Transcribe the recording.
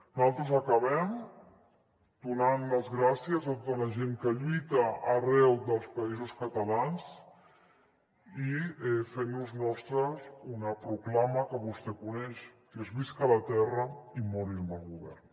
nosaltres acabem donant les gràcies a tota la gent que lluita arreu dels països catalans i fent nos nostra una proclama que vostè coneix que és visca la terra i mori el mal govern